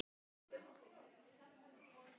En hvers vegna það?